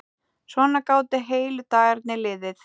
Svona gátu heilu dagarnir liðið.